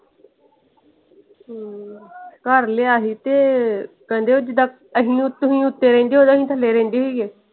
ਘਰ ਲਿਆ ਸੀ ਤੇ ਕਹਿੰਦੇ ਉਹ ਜਿਦਾਂ ਅਸੀਂ ਤੁਸੀਂ ਉੱਤੇ ਰਹਿੰਦੇ ਹੋ ਤੇ ਅਸੀਂ ਥੱਲੇ ਰਹਿੰਦੇ ਹੋਈਏ।